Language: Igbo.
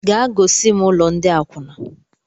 Gaa gosim ụlọ ndị akwuna!